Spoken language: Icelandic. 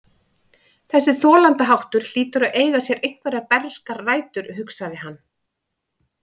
Þessi þolandaháttur hlýtur að eiga sér einhverjar bernskar rætur, hugsaði hann.